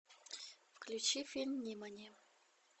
включи фильм нимани